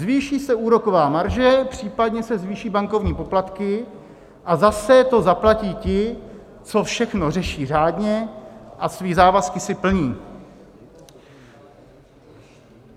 Zvýší se úroková marže, případně se zvýší bankovní poplatky a zase to zaplatí ti, co všechno řeší řádně a své závazky si plní.